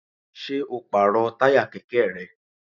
Ṣé o pàrọ̀ táyà kẹ̀kẹ́ rẹ?